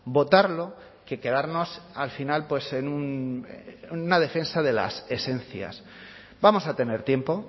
votarlo que quedarnos al final en una defensa de las esencias vamos a tener tiempo